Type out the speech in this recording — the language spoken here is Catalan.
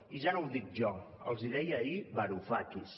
i ja no ho dic jo els hi deia ahir varufakis